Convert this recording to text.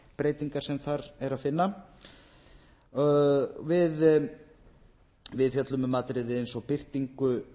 breytingar sem þar er að finna við fjöllum um atriði eins og birtingu